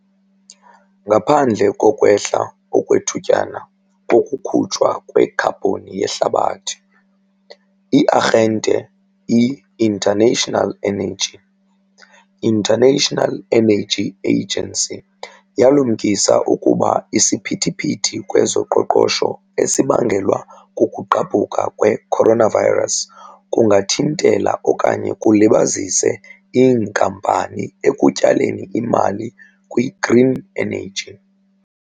Ngaphandle kokwehla okwethutyana kokukhutshwa kwekhabhoni yehlabathi, i-Arhente i-International Energy, International Energy Agency, yalumkisa ukuba isiphithiphithi kwezoqoqosho esibangelwa kukugqabhuka kwe-coronavirus kungathintela okanye kulibazise iinkampani ekutyaleni imali kwi-green energy.